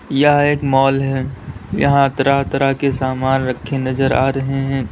यह एक मॉल है यहां तरह-तरह के समान रखे नजर आ रहे हैं।